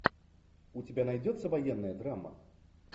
у тебя найдется военная драма